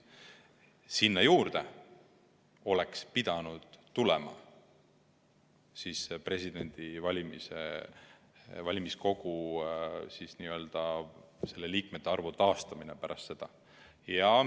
Sinna juurde oleks pidanud tulema ka valimiskogu teema, selle liikmete arvu taastamine pärast haldusreformi.